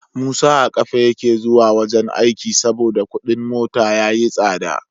Musa a kafa yake zuwa wajan aiki saboda Ƙudin mota yayi tsada